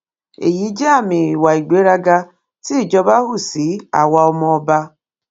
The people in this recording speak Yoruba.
èyí jẹ àmì ìwà ìgbéraga tí ìjọba hù sí àwa ọmọọba